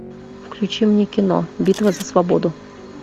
включи мне кино битва за свободу